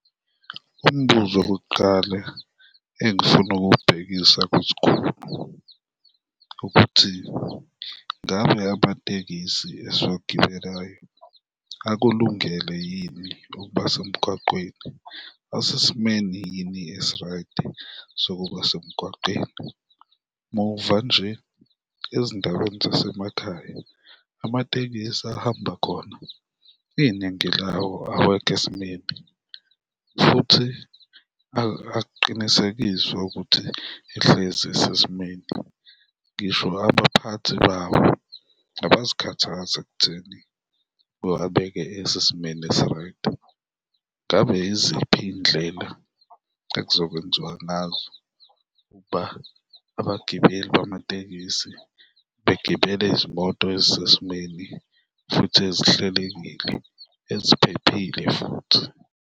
Umbuzo okokuqala engifuna ukuwubhekisa kwisikhulu ukuthi ngabe amatekisi esiwagibelayo akulungele yini ukuba semgwaqeni, asesimeni yini esi-right-i sokuba semgwaqeni? Muva nje, ezindaweni zasemakhaya amatekisi ahamba khona iningi lawo awekho esimeni futhi akuqinisekiswe ukuthi ehlezi isesimeni, ngisho abaphathi bawo abazikhathazi ekutheni bewabeke esesimeni esi-right, ngabe yiziphi iy'ndlela ekuzokwenziwa ngazo ukuba abagibeli bamatekisi begibele izimoto ezisesimeni futhi ezihlelekile, eziphephile futhi?